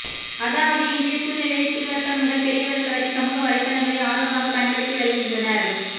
அதாவது இன்றைய சூழ்நிலையில் சிறுவர்கள் முதல் பெரியவர்கள் வரை சமூக வலைதளங்களை ஆர்வமாக பயன்படுத்தி வருகின்றனர்